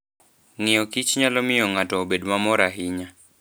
Ng'iyokich nyalo miyo ng'ato obed mamor ahinya.